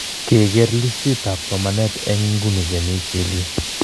Kekeer listiitab somanet en ingune che miii , chill yu.